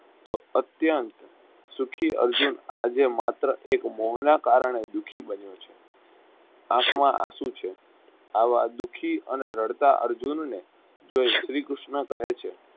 તો અત્યન્ત સુખી અર્જુન આજે માત્ર એક મોહન કારણે દુઃખી બન્યો છે આખમાં આંસુ છે આવા દુઃખી અને રડતા અર્જુનને જોઈ શ્રી કૃષ્ન કહે છે.